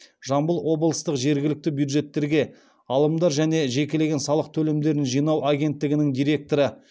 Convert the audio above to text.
жамбыл облыстық жергілікті бюджеттерге алымдар және жекелеген салық төлемдерін жинау агенттігінің директоры